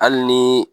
Hali ni